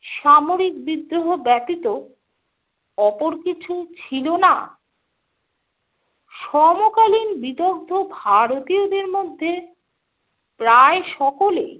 সামরিক বিদ্রোহ ব্যতীত অপর কিছু ছিল না। সমকালীন বিদগ্ধ ভারতীয়দের মধ্যে প্রায় সকলেই